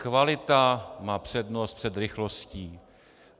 Kvalita má přednost před rychlostí.